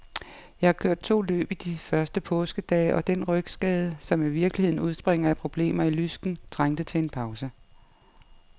Jeg har kørt to løb i de første påskedage, og den rygskade, som i virkeligheden udspringer af problemer i lysken, trængte til en pause.